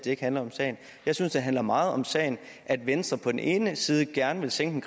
ikke handler om sagen jeg synes det handler meget om sagen at venstre på den ene side gerne vil sænke